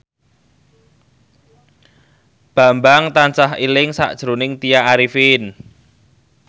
Bambang tansah eling sakjroning Tya Arifin